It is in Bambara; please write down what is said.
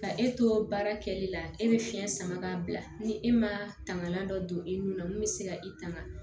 Ka e to baara kɛli la e bɛ fiɲɛ sama ka bila ni e ma tangalan dɔ don i nun na mun bɛ se ka i tanga